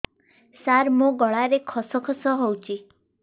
ସାର ମୋ ଗଳାରେ ଖସ ଖସ ହଉଚି